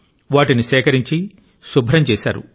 వాటిని సేకరించి శుభ్రం చేశారు